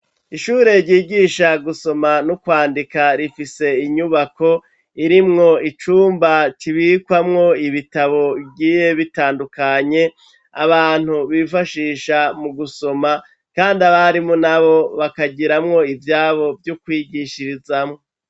Ishure ryigisha gusoma no kwandika, rifise inyubako irimwo icumba kibikwamwo ibitabo bigiye bitandukanye, abantu bifashisha mu gusoma, kandi abarimu n'abo bakagiramwo ivyabo vyo kwigishirizamwo.